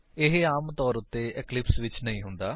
ਇਹ ਆਮਤੌਰ ਉੱਤੇ ਇਕਲਿਪਸ ਵਿੱਚ ਨਹੀਂ ਹੁੰਦਾ